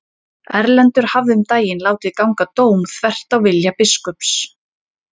Erlendur hafði um daginn látið ganga dóm þvert á vilja biskups.